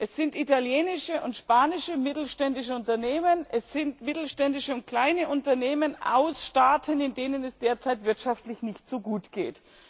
Es sind italienische und spanische mittelständische Unternehmen, es sind mittelständische und kleine Unternehmen aus Staaten, denen es derzeit wirtschaftlich nicht so gut geht.